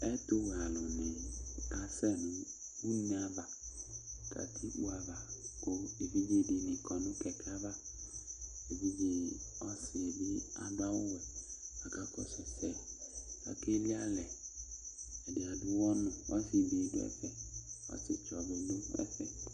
Ɛtʋwɛ alʋni kasɛ nʋ une ava, katikpo ava, kʋ evidze dini kɔ nʋ kɛkɛ ava Evidze ɔsi bi adʋ awʋ wɛ, aka kɔsʋ ɛsɛ, akeli alɛ, adi ad'ɔwɔ nʋ, ɔsi be dʋ ɛfɛ, ɔsi tsɔ bi dʋ ɛfɛ